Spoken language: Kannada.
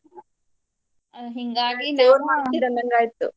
ಜೋರ್ ಮಾಡ್ತೀರ್ ಅಂದಂಗ್ ಆಯ್ತು.